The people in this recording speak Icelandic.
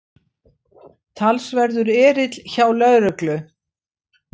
Talsverður erill hjá lögreglu